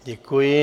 Děkuji.